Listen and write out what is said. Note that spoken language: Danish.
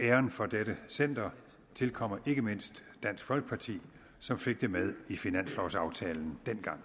æren for dette center tilkommer ikke mindst dansk folkeparti som fik det med i finanslovaftalen dengang